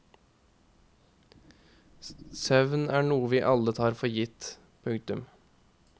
Søvn er noe vi alle tar for gitt. punktum